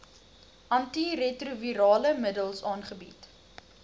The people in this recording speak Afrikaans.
antiretrovirale middels aangebied